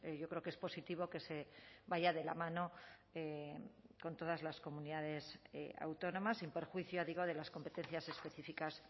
yo creo que es positivo que se vaya de la mano con todas las comunidades autónomas sin perjuicio digo de las competencias específicas